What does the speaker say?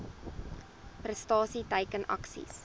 prestasie teiken aksies